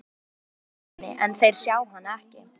Nonna, í átt að Þorsteini, en þeir sjá hana ekki.